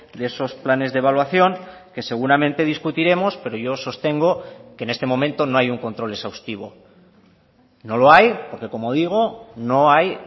de esos planes de evaluación que seguramente discutiremos pero yo sostengo que en este momento no hay un control exhaustivo no lo hay porque como digo no hay